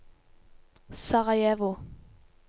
Sarajevo